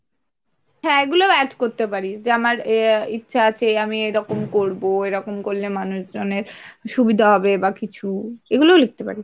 হ্যাঁ এগুলো add করতে পারিস যে আমার ইচ্ছা আছে আমি এরকম করবো এরকম করলে মানুষজনের সুবিধা হবে বা কিছু এগুলোও লিখতে পারিস।